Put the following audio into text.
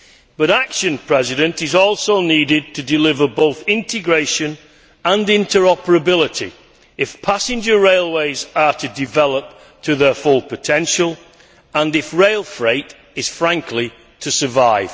But action is also needed to deliver both integration and interoperability if passenger railways are to develop to their full potential and if rail freight is, frankly, to survive.